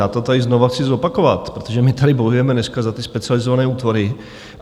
Já to tady znova chci zopakovat, protože my tady bojujeme dneska za ty specializované útvary.